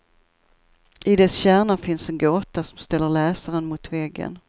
I dess kärna finns en gåta som ställer läsaren mot väggen.